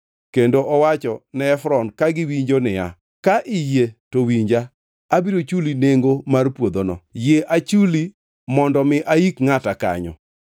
kendo nowacho ne Efron ka giwinjo niya, “Ka iyie to winja. Abiro chulo nengo mar puodhono. Yie achuli mondo mi aik ngʼata kanyo.”